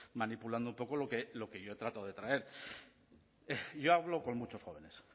manipulando un poco lo que yo trato de traer yo hablo con muchos jóvenes